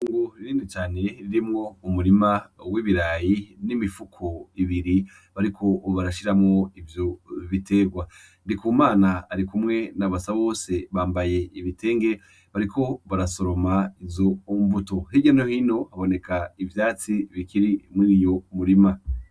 Ngu ririni cane ririmwo umurima w'ibirayi n'imifuko ibiri bariko obarashiramwo ivyo biterwa ndi ku mana ari kumwe na basa bose bambaye ibitenge bariko barasoroma izombuto hirya nohino haboneka ivyatsi bikirimwo iyo murima.